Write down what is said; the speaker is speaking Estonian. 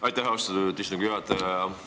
Aitäh, austatud istungi juhataja!